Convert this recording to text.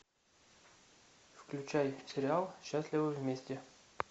включай сериал счастливы вместе